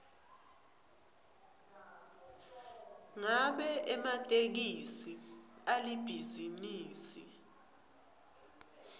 ngabe ematekisi alibhizinisi